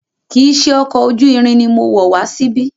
Kìí ṣe ọkọ̀ ojú irin ni mo wọ̀ wá síbí.